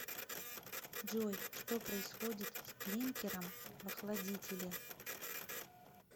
джой что происходит с клинкером в охладителе